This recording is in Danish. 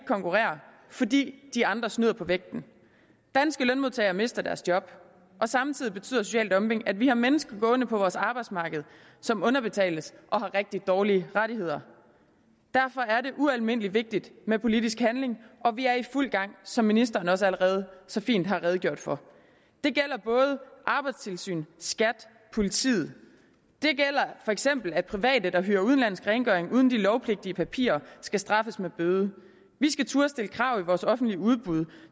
konkurrere fordi de andre snyder på vægten danske lønmodtagere mister deres job og samtidig betyder social dumping at vi har mennesker gående på vores arbejdsmarked som underbetales og har rigtig dårlige rettigheder derfor er det ualmindelig vigtigt med politisk handling og vi er i fuld gang som ministeren også allerede så fint har redegjort for det gælder både arbejdstilsynet skat og politiet det gælder for eksempel det at private der hyrer udenlandsk rengøring uden de lovpligtige papirer skal straffes med bøde vi skal turde stille krav i vores offentlige udbud